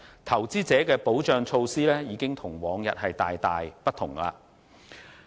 投資者的保障措施已與往日大為不同。